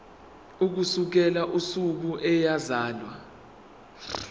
ukusukela usuku eyazalwa